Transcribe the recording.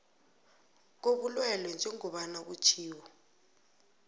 kobulwelwe njengombana kutjhiwo